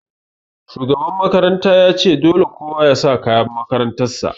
Shugaban makaranta ya ce 'Dole kowa ya sa kayan makarantar sa'!